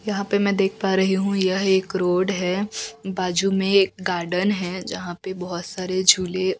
यहां पे में देख पा रही हु यह एक रोड है बाजू में एक गार्डन है जहां पे बहोत सारे झूले--